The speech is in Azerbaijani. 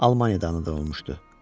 Almaniyadan anadan olmuşdu.